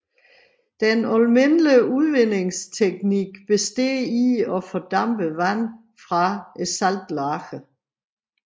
Den almindelige udvindingsteknik består i at fordampe vand fra saltlagene